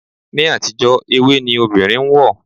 Ni àtijó ewé ni obìnrin ń wọ̀.